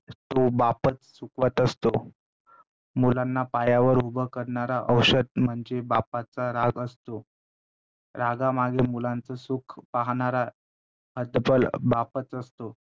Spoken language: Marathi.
तो बापच चुकवत असतो. मुलांना पायावर उभ करणारा औषध म्हणजे बापाचा राग असतो. रागामागे मुलांचं सुख पाहणारा हतबल बापच असतो